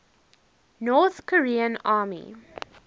north korean army